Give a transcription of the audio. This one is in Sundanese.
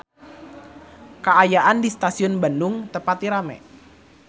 Kaayaan di Stasiun Bandung teu pati rame